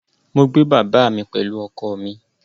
Mo gbé bàbá mi pẹ̀lú ọkọ̀ mi